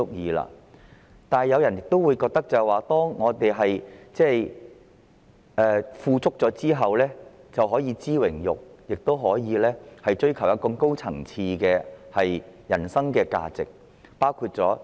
不過，亦有人認為，在生活富足後，便應該知榮辱，以及追求更高層次的人生價值。